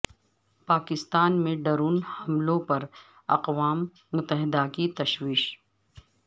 پاکستان میں ڈرون حملوں پر اقوام متحدہ کی تشویش